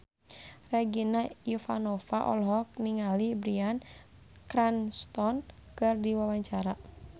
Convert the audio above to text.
Regina Ivanova olohok ningali Bryan Cranston keur diwawancara